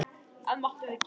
Allt máttum við gera.